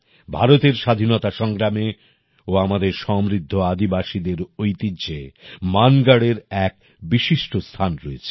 ভারতের স্বাধীনতা সংগ্রামে ও আমাদের সমৃদ্ধ আদিবাসীদের ঐতিহ্যে মানগঢ়এর এক বিশিষ্ট স্থান রয়েছে